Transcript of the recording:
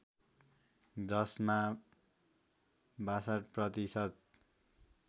जसमा ६२ प्रतिशत